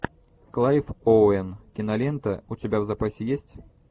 клайв оуэн кинолента у тебя в запасе есть